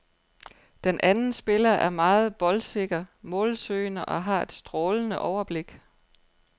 Den anden spiller er meget boldsikker, målsøgende og har et strålende overblik.